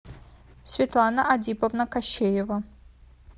светлана адиповна кощеева